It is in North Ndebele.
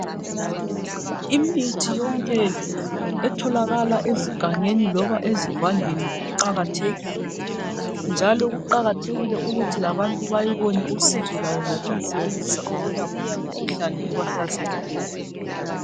Imithi yonke etholakala ezigangeni loba ezivandeni iqakathekile njalo kuqakathekile ukuthi labantu bayibone usizo lwayo ngokuyi sebenzisa ukwelapha imikhuhlane ebahlaselileyo.